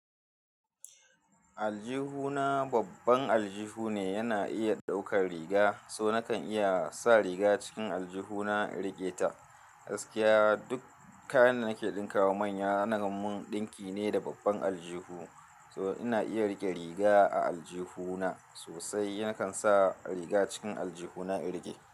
Aljihuna babban aljihu ne, yana iya ɗaukar riga, so nakan iya sa riga cikin aljihuna in rike ta. Gaskiya duk kayan da nake ɗinka wa manya, ana mun ɗinki ne da babban aljihu. So ina iya rike riga a aljihuna sosai, nakan sa riga cikin aljihuna in rike.